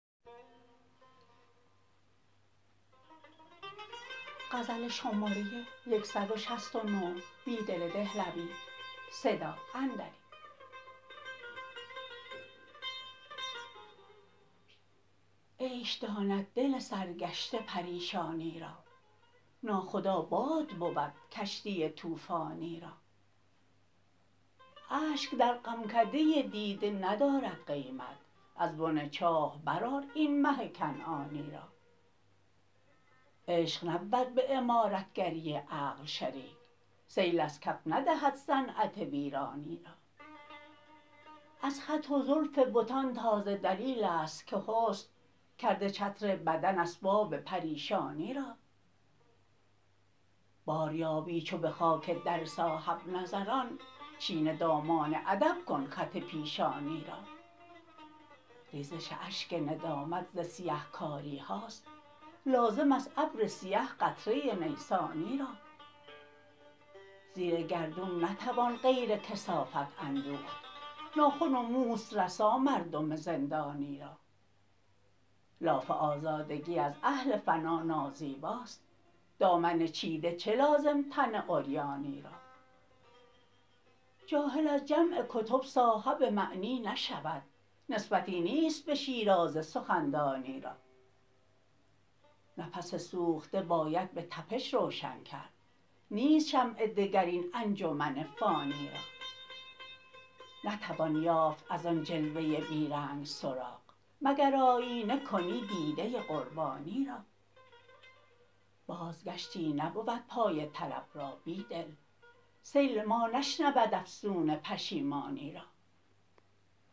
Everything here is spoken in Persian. عیش داند دل سرگشته پریشانی را ناخدا باد بود کشتی توفانی را اشک در غمکده دیده ندارد قیمت از بن چاه برآر این مه کنعانی را عشق نبود به عمارتگری عقل شریک سیل از کف ندهد صنعت ویرانی را از خط و زلف بتان تازه دلیل است که حسن کرده چتر بدن اسباب پریشانی را بار یابی چو به خاک در صاحب نظران چین دامان ادب کن خط پیشانی را ریزش اشک ندامت ز سیه کاری هاست لازم است ابر سیه قطره نیسانی را زیر گردون نتوان غیر کثافت اندوخت ناخن و موست رسا مردم زندانی را لاف آزادگی از اهل فنا نازیباست دامن چیده چه لازم تن عریانی را جاهل از جمع کتب صاحب معنی نشود نسبتی نیست به شیرازه سخندانی را نفس سوخته باید به تپش روشن کرد نیست شمع دگر این انجمن فانی را نتوان یافت از آن جلوه بیرنگ سراغ مگر آیینه کنی دیده قربانی را بازگشتی نبود پای طلب را بیدل سیل ما نشنود افسون پشیمانی را